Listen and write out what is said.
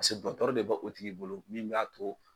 Pasike dɔtɔri de bɛ o tigi bolo min bɛ a to